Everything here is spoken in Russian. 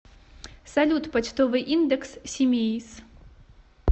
салют почтовый индекс симеиз